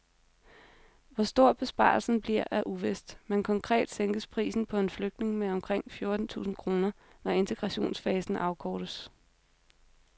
Hvor stor besparelsen bliver er uvist, men konkret sænkes prisen på en flygtning med omkring fjorten tusind kroner, når integrationsfasen afkortes.